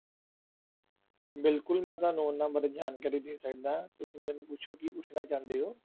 ਬਿਲਕੁਲ ਮੈਂ ਤੁਹਾਨੂੰ ਉਹਨਾਂ ਬਾਰੇ ਜਾਣਕਾਰੀ ਦੇ ਸਕਦਾ ਹਾਂ, ਤੁਸੀਂ ਮੈਨੂੰ ਪੁੱਛੋ ਕੀ ਪੁੱਛਣਾ ਚਾਹੁੰਦੇ ਹੋ।